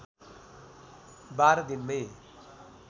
१२ दिनमै